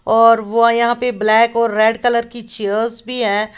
और वो यहां पे ब्लैक और रेड कलर की चेयर्स भी है।